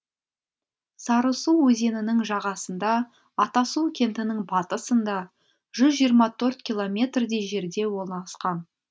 сарысу өзенінің жағасында атасу кентінің батысында жүз жиырма төрт километрдей жерде орналасқан